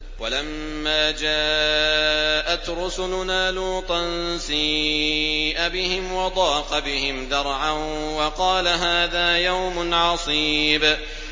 وَلَمَّا جَاءَتْ رُسُلُنَا لُوطًا سِيءَ بِهِمْ وَضَاقَ بِهِمْ ذَرْعًا وَقَالَ هَٰذَا يَوْمٌ عَصِيبٌ